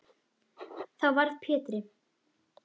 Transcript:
Þá varð Pétri